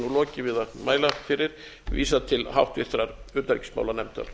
lokið við að mæla fyrir vísað til háttvirtrar utanríkismálanefndar